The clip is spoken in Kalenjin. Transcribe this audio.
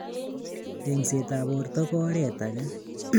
Engsetab borto kora ko oretage